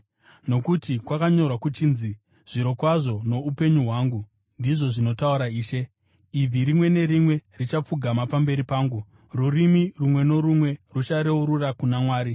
“Nokuti kwakanyorwa kuchinzi: “ ‘Zvirokwazo noupenyu hwangu,’ ndizvo zvinotaura Ishe, ‘ibvi rimwe nerimwe richapfugama pamberi pangu; rurimi rumwe norumwe ruchareurura kuna Mwari.’ ”